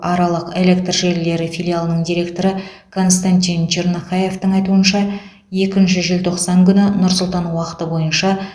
аралық электр желілері филиалының директоры константин чернохаевтың айтуынша екінші желтоқсан күні нұр сұлтан уақыты бойынша